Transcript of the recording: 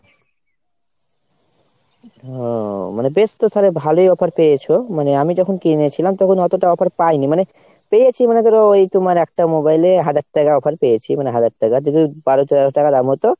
ও মানে বেশ তো তালে ভালোই offer পেয়েছো। মানে আমি যখন কিনেছিলাম তখন অতোটা offer পাইনি মানে, পেয়েছি মানে ধরো ওই তোমার একটা mobile এ হাজার টাকা offer পেয়েছি। মানে হাজার টাকা যদি বারো তেরো হাজার টাকা দাম হয় তো